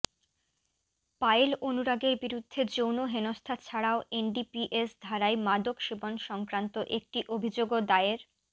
পায়েল অনুরাগের বিরুদ্ধে যৌন হেনস্থা ছাড়াও এনডিপিএস ধারায় মাদক সেবন সংক্রান্ত একটি অভিযোগও দায়ের